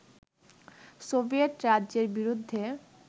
Soviet রাজ্যের বিরুদ্ধে